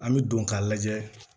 An bɛ don k'a lajɛ